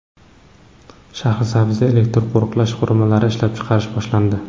Shahrisabzda elektron qo‘riqlash qurilmalari ishlab chiqarish boshlandi.